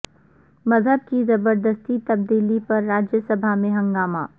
مذہب کی زبردستی تبدیلی پر راجیہ سبھا میں ہنگامہ